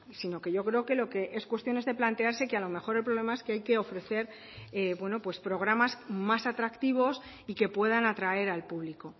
sino que lo que yo creo es cuestión de plantearse que a lo mejor el problema es que hay que ofrecer bueno pues programas más atractivos y que puedan atraer al público